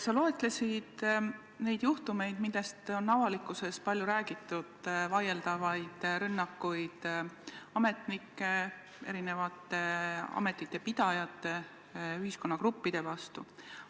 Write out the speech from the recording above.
Sa loetlesid neid juhtumeid, millest on avalikkuses palju räägitud: vaieldavad rünnakud ametnike, erinevate ametite pidajate, ühiskonnagruppide vastu.